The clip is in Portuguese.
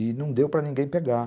e não deu para ninguém pegar.